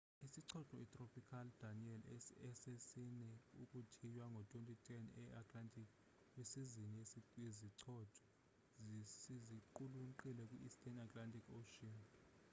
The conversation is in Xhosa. isichotho itropical danielle esesine ukuthiywa ngo 2010 e-atlantic kwisizini yezichotho siziqulunqile kwi-eastern atlantic ocean